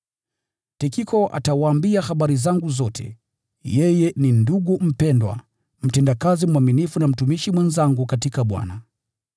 Tikiko atawaambia habari zangu zote. Yeye ni ndugu mpendwa, mtendakazi mwaminifu na mtumishi mwenzangu katika Bwana.